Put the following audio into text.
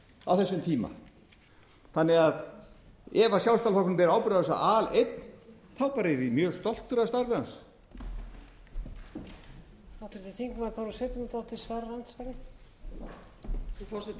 á þessum tíma þannig að ef sjálfstæðisflokkurinn ber ábyrgð á þessu aleinn þá yrði ég bara mjög stoltur af starfi hans